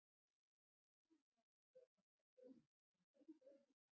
Skýringin á þessu er kannski ekki augljós en þó í raun einföld.